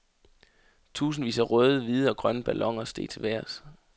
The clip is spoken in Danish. Tusindvis af røde, hvide og grønne balloner steg til vejrs.